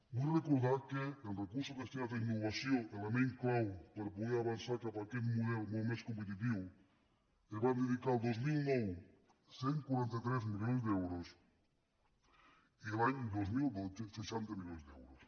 vull recordar que en recursos destinats a innovació element clau per poder avançar cap a aquest model molt més competitiu es van dedicar el dos mil nou cent i quaranta tres milions d’euros i l’any dos mil dotze seixanta milions d’euros